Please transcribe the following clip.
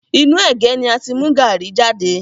Inú ẹ̀gé ni a ti mú gaàrí jade